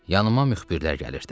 Yanıma müxbirlər gəlirdi.